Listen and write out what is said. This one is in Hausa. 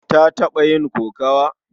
Ta taɓa yin kokawa?